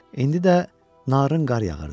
İndi də narın qar yağırdı.